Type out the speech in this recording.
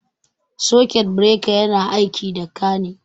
Sakut bireka yana aiki da ka ne